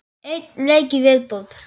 Einn leik í viðbót.